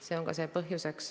See on ka põhjuseks.